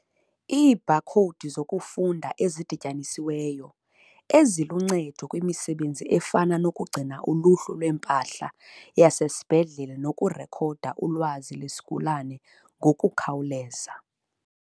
Iibhakhowudi zokufunda ezidityanisiweyo, eziluncedo kwimisebenzi efana nokugcina uluhlu lwempahla yasesibhedlele nokurekhoda ulwazi lwesigulana ngokukhawuleza.